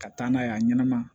Ka taa n'a ye a ɲɛnɛma